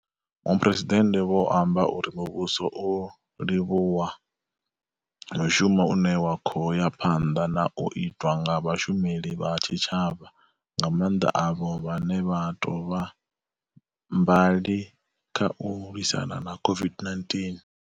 Muphuresidennde vho amba uri muvhuso u livhuwa mushumo une wa khou ya phanḓa na u itwa nga vhashumeli vha tshi tshavha, nga maanḓa avho vhane vha tou vha mbali kha u lwisana na COVID-19.